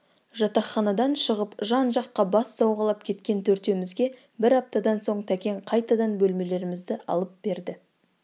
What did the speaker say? жатақханадан шығып жан-жаққа бас сауғалап кеткен төртеумізге бір аптадан соң тәкең қайтадан бөлмелерімізді алып берді